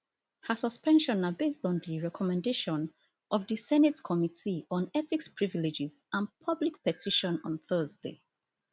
her suspension na based on di recommendation of di senate committee on ethics privileges and public petition on thursday